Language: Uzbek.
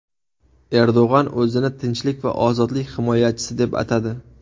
Erdo‘g‘on o‘zini tinchlik va ozodlik himoyachisi deb atadi.